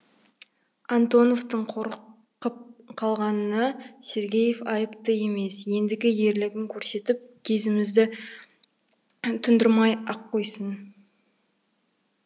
антоновтың қорқып қалғанына сергеев айыпты емес ендігі ерлігін көрсетіп кезімізді тұндырмай ақ қойсын